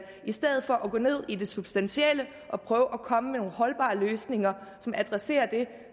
i stedet for at gå ned i det substantielle og prøve at komme med nogle holdbare løsninger som adresserer det